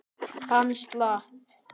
Hann slapp.